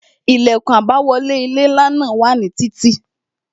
Ilẹkun àbáwọlé ilé ńlá náà wà ní títí